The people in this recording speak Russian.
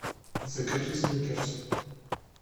закажи сникерс